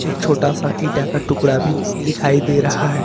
एक छोटा सा इंटा का टुकड़ा भी दिखाई दे रहा है।